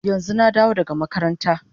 Yanzu na dawo daga makabarta